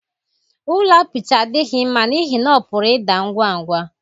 Ụlọ apịtị adịghị mma n'ihi na ọ pụrụ ịda ngwa ngwa.